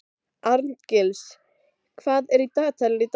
Arngils, hvað er á dagatalinu í dag?